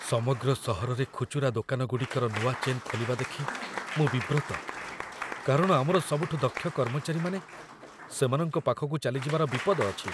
ସମଗ୍ର ସହରରେ ଖୁଚୁରା ଦୋକାନଗୁଡ଼ିକର ନୂଆ ଚେନ୍ ଖୋଲିବା ଦେଖି ମୁଁ ବିବ୍ରତ, କାରଣ ଆମର ସବୁଠୁ ଦକ୍ଷ କର୍ମଚାରୀମାନେ ସେମାନଙ୍କ ପାଖକୁ ଚାଲିଯିବାର ବିପଦ ଅଛି।